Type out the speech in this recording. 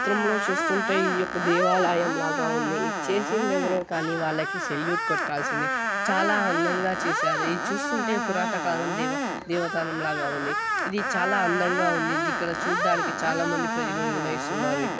ఈ చిత్రంలో చూసుకున్నట్లయితే ఇది ఒక దేవాలయంలో ఉంది చేసింది ఎవరో కానీ వాళ్లకి సెల్యూట్ కొట్టాల్సిందే చాలా అందంగా చేశారు ఇది చూస్తుంటే పురాతన కాలం దేవత దేవాలయం లాగా ఉంది ఇది చాలా అందంగా ఉంది ఇక్కడ చూడ్డానికి చాలామంది ప్రజలు నివసిస్తుంన్నారు ఇక్కడ--